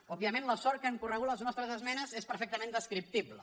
òbviament la sort que han corregut les nostres esmenes és perfectament descriptible